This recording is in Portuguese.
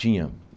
Tinha.